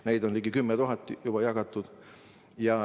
Neid on ligi 10 000 juba jagatud.